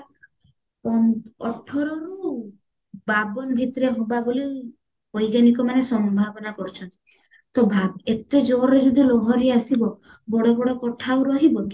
ପନ୍ଦ ଅଠରରୁ ବାବନ ଭିତରେ ହବା ବୋଲି ବୈଜ୍ଞାନିକ ମାନେ ସମ୍ଭାବନା କରିଚନ୍ତି ତ ଭାବ ଏତେ ଜୋରରେ ଯଦି ଲହରୀ ଆସିବ ବଡ ବଡ କୋଠା ଆଉ ରହିବ କି